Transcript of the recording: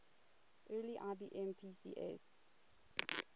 early ibm pcs